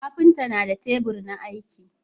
kafinta na da tebur na aiki